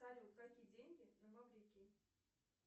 салют какие деньги на маврикии